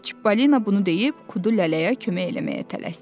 Çipollino bunu deyib Qudurluya kömək eləməyə tələsdi.